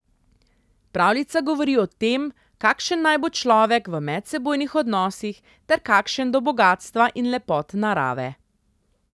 Pravljica govori o tem, kakšen naj bo človek v medsebojnih odnosih ter kakšen do bogastva in lepot narave.